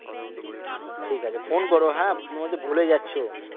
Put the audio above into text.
ঠিক আছে phone করো হ্যাঁ তুমি কিন্তু ভুলে যাচ্ছ